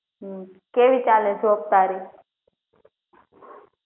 કેવી ચાલે job તારી